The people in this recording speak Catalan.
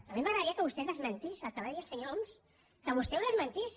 a mi m’agradaria que vostè desmentís el que va dir el senyor homs que vostè ho desmentís